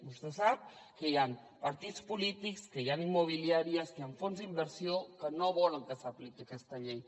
vostè sap que hi han partits polítics que hi han immobiliàries hi han fons d’inversió que no volen que s’apliqui aquesta llei